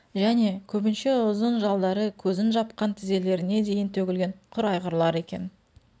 және көбінше ұзын жалдары көзін жапқан тізелеріне дейін төгілген құр айғырлар екен